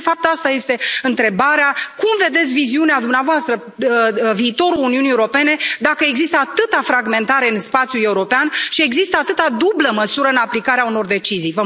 Și, de fapt, asta este întrebarea cum vedeți, în viziunea dumneavoastră, viitorul Uniunii Europene, dacă există atâta fragmentare în spațiul european și există atâta dublă măsură în aplicarea unor decizii?